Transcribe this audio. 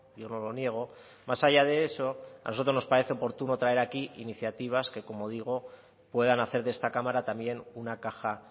yo no lo niego más allá de eso a nosotros nos parece oportuno traer aquí iniciativas que como digo puedan hacer de esta cámara también una caja